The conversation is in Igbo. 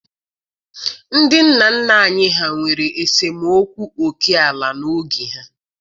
Ndị nna nna anyị ha nwere esemokwu oke ala n'oge ha.